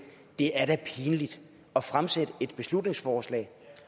det er da pinligt at fremsætte et beslutningsforslag